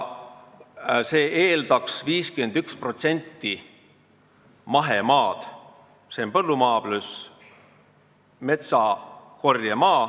See tähendaks 51% mahemaad, s.o põllumaa pluss metsakorjemaa.